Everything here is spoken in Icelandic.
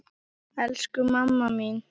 Elsku mamma mín!